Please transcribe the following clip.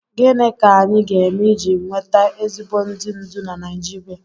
Gịnị ka anyị ga-eme iji nweta ezigbo ndị ndú na Naijiria?